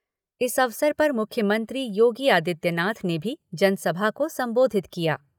इस अवसर पर मुख्यमंत्री योगी आदित्यनाथ ने भी जनसभा को संबोधित किया।